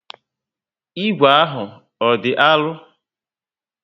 Ígwè ahụ ọ dị arụ?